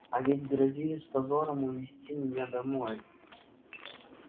а ведь грозились с позором увезти меня домой